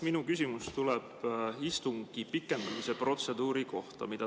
Minu küsimus tuleb istungi pikendamise protseduuri kohta.